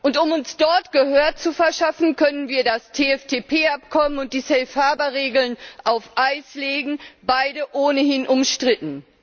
Und um uns dort Gehör zu verschaffen, können wir das TFTP Abkommen und die Regeln auf Eis legen, beide ohnehin umstritten.